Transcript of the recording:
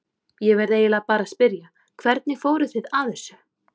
Ég verð eiginlega bara að spyrja, hvernig fóruð þið að þessu?